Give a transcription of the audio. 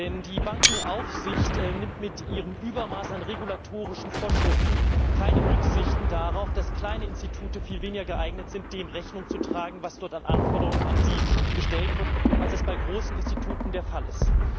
Denn die Bankenaufsicht nimmt mit ihrem Übermaß an regulatorischen Vorschriften keine Rücksicht darauf, dass kleine Institute viel weniger geeignet sind, dem Rechnung zu tragen, was dort an Anforderungen an sie gestellt wird, als es bei großen Instituten der Fall ist.